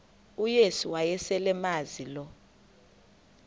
uyesu wayeselemazi lo